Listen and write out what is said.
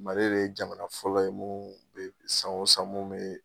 Mali le ye jamana fɔlɔ ye san o san mun be